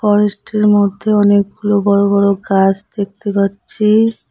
ফরেস্টের মধ্যে অনেকগুলো বড় বড় গাছ দেখতে পাচ্ছি।